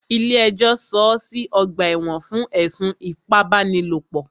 Ilé ẹjọ́ sọọ́ sí ọ̀gbà ẹ̀wọ̀n fún ẹ̀sùn ipábánilòpọ̀.